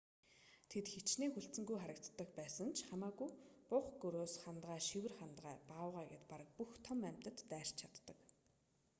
тэд хэчнээн хүлцэнгүй харагддаг ч байсан хамаагүй бух гөрөөс хандгай шивэр хандгай баавгай гээд бараг бүх том амьтад дайрч чаддаг